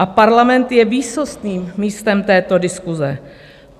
A parlament je výsostným místem této diskuse.